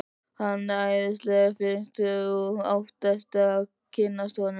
Hann er æðislega fínn. þú átt eftir að kynnast honum.